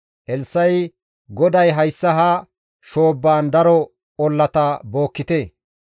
Elssa7i, «GODAY, ‹Hayssa ha shoobbaan daro ollata bookkite.